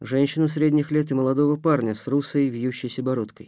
женщину средних лет и молодого парня с русой вьющейся бородкой